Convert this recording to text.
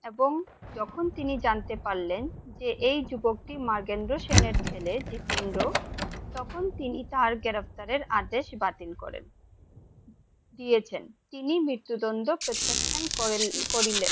এবং যখন তিনি জানতে পারলেন যে এই যুবকটি মার্গেন্দ্রা সেনের ছেলে জিতেন্দ্র তখন তিনি তার গ্রেফতারের আদেশ বাতিন করেন দিয়েছেন তিনি মৃত্যুদণ্ড প্রত্যক্ষণ করিলেন।